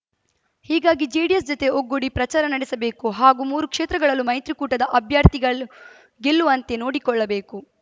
ಹೀಗಾಗಿ ಜೆಡಿಎಸ್‌ ಜತೆ ಒಗ್ಗೂಡಿ ಪ್ರಚಾರ ನಡೆಸಬೇಕು ಹಾಗೂ ಮೂರು ಕ್ಷೇತ್ರಗಳಲ್ಲೂ ಮೈತ್ರಿಕೂಟದ ಅಭ್ಯರ್ಥಿಗಳು ಗೆಲ್ಲುವಂತೆ ನೋಡಿಕೊಳ್ಳಬೇಕು